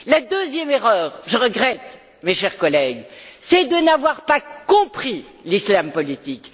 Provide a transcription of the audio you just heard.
La deuxième erreur, je regrette, mes chers collègues, c'est de n'avoir pas compris l'islam politique.